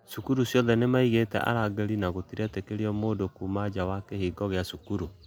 Cũkũrũĩnĩ cĩothe nĩmaĩgĩte arangĩrĩ na gũtĩretĩkĩrĩo mũndũ kũma nja wa kĩhĩngo gĩa cukuru